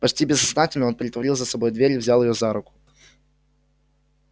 почти бессознательно он притворил за собой дверь и взял её за руку